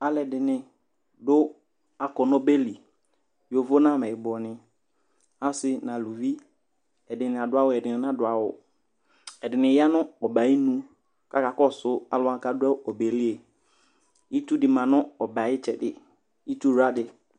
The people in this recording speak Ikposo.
aloɛdini do akɔ n'ɔbeli yovo n'amɛyibɔ ni ase n'aluvi ɛdini ado awu ɛdini nado awu ɛdini ya no ɔbɛ ayinu k'aka kɔsu alo wani k'ado ɔbɛ li itsu di ma no ɔbɛ ay'itsɛdi itsu wla di